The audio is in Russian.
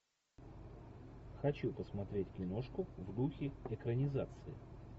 хочу посмотреть киношку в духе экранизации